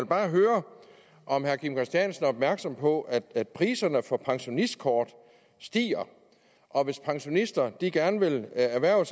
bare høre om herre kim christiansen er opmærksom på at priserne for pensionistkort stiger og hvis pensionister gerne vil erhverve